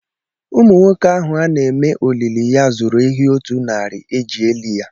Ụmụnwoke ahụ ana eme olili ya zụrụ ehi otu narị eji eli ya.